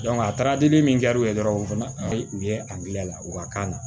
a taara dili min kɛ u ye dɔrɔn u fana bɛ u ye agilɛ la u ka kan na